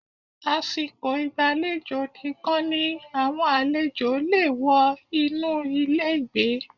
Àsìkò ìgbàlejò nìkan ni àwọn àlejò le è wọ inú ilé ìgbé